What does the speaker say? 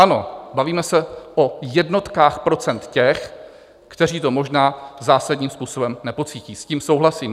Ano, bavíme se o jednotkách procent těch, kteří to možná zásadním způsobem nepocítí, s tím souhlasím.